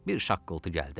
Bir şaqqıltı gəldi.